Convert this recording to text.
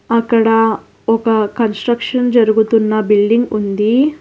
అక్కడా ఒక కన్స్ట్రక్షన్ జరుగుతున్న బిల్డింగ్ ఉందీ.